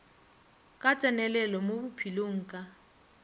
ka tsenelelo mo bophelong ka